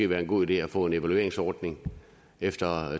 være en god idé at få en evalueringsordning efter